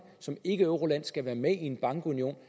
som ikkeeuroland skal være med i en bankunion